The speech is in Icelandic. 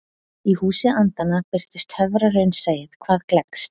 Í Húsi andanna birtist töfraraunsæið hvað gleggst.